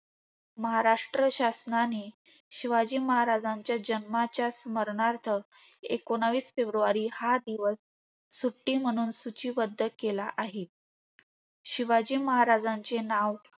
महाराष्ट्र शासनाने शिवाजी महाराजांचे जन्माच्या स्मरणार्थ एकोणीस फेब्रुवारी हा दिवस सुट्टी म्हणून सूचीबद्ध केला आहे. शिवाजी महाराजांचे नाव